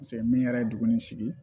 Paseke min yɛrɛ ye dugu nin sigi